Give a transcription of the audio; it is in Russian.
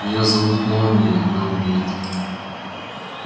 её зовут молнией и она умеет